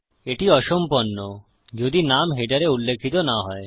এটি অসম্পন্ন যদি নাম হেডারে উল্লিখিত না হয়